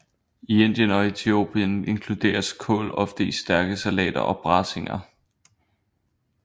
I Indien og Etiopien inkluderes kål ofte i stærke salater og braseringer